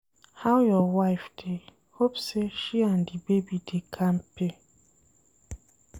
How your wife dey? hope sey she and di baby dey kampe.